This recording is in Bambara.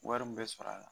Wari min bɛ sɔrɔ a la